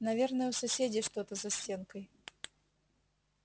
наверное у соседей что-то за стенкой